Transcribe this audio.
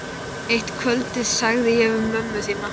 Eitt kvöldið sagði ég við mömmu þína